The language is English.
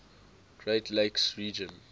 great lakes region